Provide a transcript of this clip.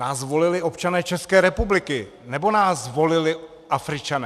Nás volili občané České republiky, nebo nás volili Afričané?